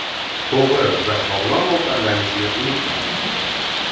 To‘g‘ri va sog‘lom ovqatlanishni unutmang.